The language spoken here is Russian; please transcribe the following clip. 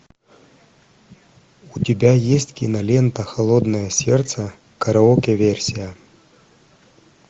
у тебя есть кинолента холодное сердце караоке версия